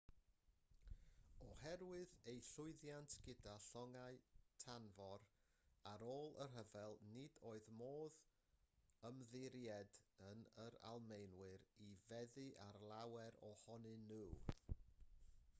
oherwydd eu llwyddiant gyda llongau tanfor ar ôl y rhyfel nid oedd modd ymddiried yn yr almaenwyr i feddu ar lawer ohonyn nhw